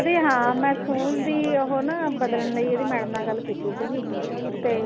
ਹਾਂ ਮੈਂ ਸਕੂਲ ਦੀ ਉਹ ਨਾ ਬਦਲਣ ਲਈ ਇਹਦੀ madam ਨਾਲ ਗੱਲ ਕੀਤੀ ਸੀਗੀ ਤੇ